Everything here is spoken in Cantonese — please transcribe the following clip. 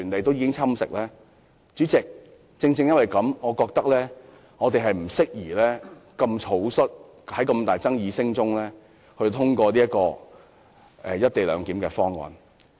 代理主席，正因如此，我認為我們不宜草率地在巨大爭議聲中通過"一地兩檢"方案。